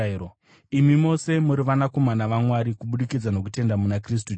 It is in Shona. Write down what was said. Imi mose muri vanakomana vaMwari kubudikidza nokutenda muna Kristu Jesu,